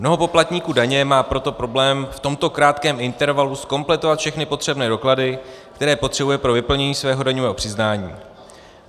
Mnoho poplatníků daně má proto problém v tomto krátkém intervalu zkompletovat všechny potřebné doklady, které potřebuje pro vyplnění svého daňového přiznání.